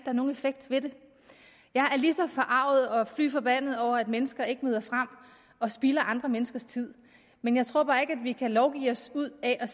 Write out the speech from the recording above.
er nogen effekt ved det jeg er lige så forarget og fy forbandet over at mennesker ikke møder frem og spilder andre menneskers tid men jeg tror bare ikke vi kan lovgive os ud af at